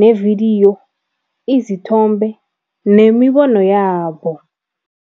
ne-video, izithombe nemibono yabo.